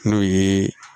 N'o ye